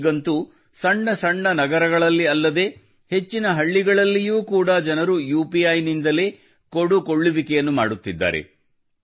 ಈಗಂತೂ ಸಣ್ಣ ಸಣ್ಣ ನಗರಗಳಲ್ಲಿ ಅಲ್ಲದೆ ಹೆಚ್ಚಿನ ಹಳ್ಳಿಗಳಲ್ಲಿಯೂ ಕೂಡ ಜನರು ಯುಪಿಐ ನಿಂದಲೇ ಕೊಡು ಕೊಳ್ಳುವಿಕೆಯನ್ನು ಮಾಡುತ್ತಿದ್ದಾರೆ